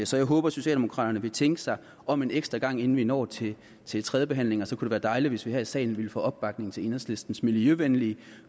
så jeg håber at socialdemokraterne vil tænke sig om en ekstra gang inden vi når til til tredjebehandlingen så ville det være dejligt hvis vi her i salen ville få opbakning til enhedslistens miljøvenlige